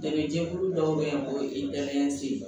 Dɛmɛjɛkulu dɔw be yen o ye dalen se ye